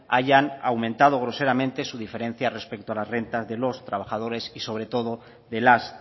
hayan aumentado groseramente su diferencia respecto a las rentas de los trabajadores y sobre todo de las